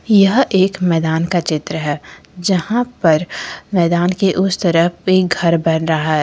यह एक मैदान का चित्र है जहां पर मैदान के उस तरफ पे घर बन रहा है।